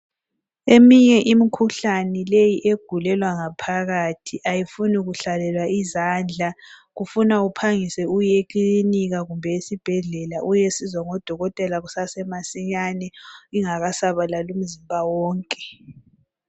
Eminye imikhuhlane leyi egulelwa ngaphakathi ayifuni kuhlalelwa izandla, kufuna uphangise uye ekilinika kumbe esibhedlela uyesizwa ngodokotela kusesemasinyane ingakasabalali imizimba wonke.